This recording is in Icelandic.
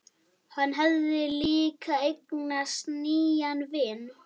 Hann hafði líka eignast nýjan vin.